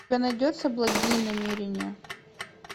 у тебя найдется благие намерения